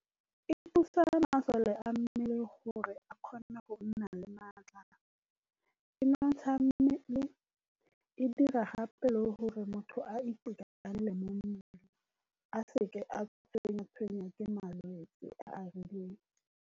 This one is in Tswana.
E thusa masole a mmele gore a kgone go nna le maatla, e nontsha mmele, e dira gape le gore motho a itekanele mo mmeleng, a se ka a tshengwa-tshwengwa ke malwetse a a rileng.